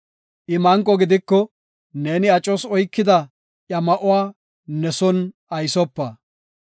I manqo gidiko, neeni acos oykida iya ma7uwa ne son aysopa.